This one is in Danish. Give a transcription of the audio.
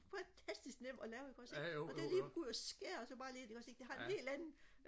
fantastisk nemt og lave ikke også ikke og det lige at kunne gå ud og skære og så bare lige ind ikke også ikke det har en helt anden